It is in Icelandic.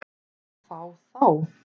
Fá þá?